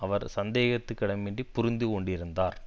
அவர் சந்தேகத்துக்கிடமின்றி புரிந்து கொண்டிருந்தார்